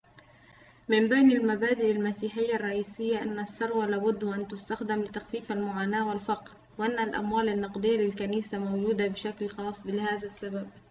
من بين المبادئ المسيحية الرئيسية أن الثروة لابد وأن تُستخدم لتخفيف المعاناة والفقر وأن الأموال النقدية للكنيسة موجودة بشكل خاص لهذا السبب